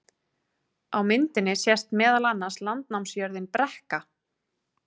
Á myndinni sést meðal annars landnámsjörðin Brekka.